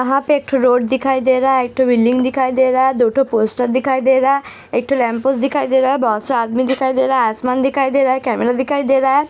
यहाँ पर एक ठो रोड दिखाई दे रहा है। एक ठो बिल्डिंग दिखाई दे रहा है। दो ठो पोस्टर दिखाई दे रहा है। एक ठो लैम्पोस्ट दिखाई दे रहा है। बहोत सी आदमी दिखाई दे रहा है। आसमान दिखाई दे रहा है। कैमरा दिखाई दे रहा है।